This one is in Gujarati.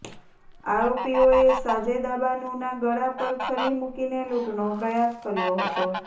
આરોપીઓએ સાજેદાબાનુના ગળા પર છરી મુકીને લૂંટનો પ્રયાસ કર્યો હતો